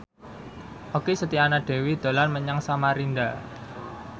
Okky Setiana Dewi dolan menyang Samarinda